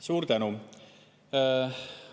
Suur tänu!